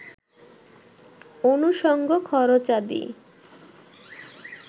অনুসঙ্গ খরচাদি